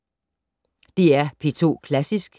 DR P2 Klassisk